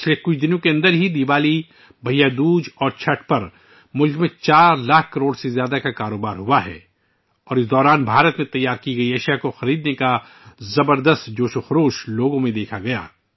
گزشتہ چند دنوں میں ملک میں دیوالی، بھیا دوج اور چھٹھ پر 4 لاکھ کروڑ روپئے سے زیادہ کا کاروبار ہوا اور اس عرصے کے دوران ، لوگوں میں بھارت میں بنی اشیاء کی خریداری میں زبردست جوش و خروش دیکھا گیا